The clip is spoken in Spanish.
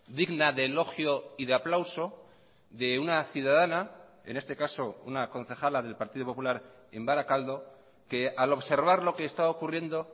digna de elogio y de aplauso de una ciudadana en este caso una concejala del partido popular en barakaldo que al observar lo que está ocurriendo